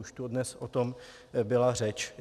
Už tu dnes o tom byla řeč.